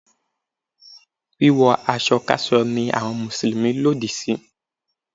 Wíwọ aṣọ káṣọ ni àwọn Mùsùlùmí lòdì sí.